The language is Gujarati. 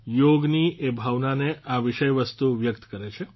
યોગની એ ભાવનાને આ વિષય વસ્તુ વ્યકત કરે છે